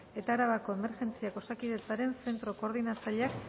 eta arabako emergentziak osakidetzaren zentro koordinatzaileak